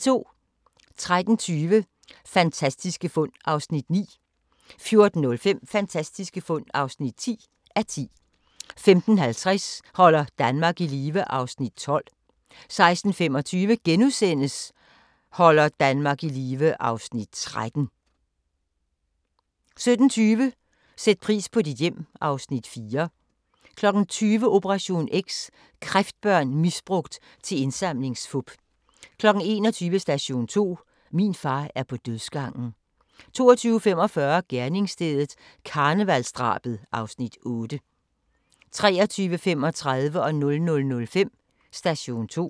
13:20: Fantastiske fund (9:10) 14:05: Fantastiske fund (10:10) 15:50: Holder Danmark i live (Afs. 12) 16:25: Holder Danmark i live (Afs. 13)* 17:20: Sæt pris på dit hjem (Afs. 4) 20:00: Operation X: Kræftbørn misbrugt til indsamlingsfup 21:00: Station 2: Min far er på dødsgangen 22:45: Gerningsstedet – karnevalsdrabet (Afs. 8) 23:35: Station 2: Politirapporten 00:05: Station 2: Politirapporten